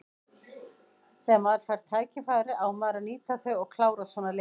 Þegar maður fær tækifæri á maður að nýta þau og klára svona leiki.